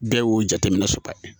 Bɛɛ y'o jateminɛ soba ye